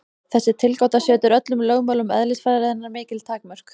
Þessi tilgáta setur öllum lögmálum eðlisfræðinnar mikil takmörk.